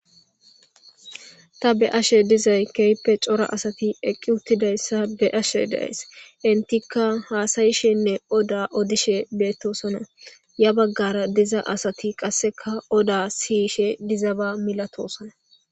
Ta be'ashe dizay keehippe cora asati eqi utidaysa be'ashe de'aysi. Entika hasa'ishenne oda odishe betosona, ya bagara diza asti qaseka oda siyishe dizaba milatisona .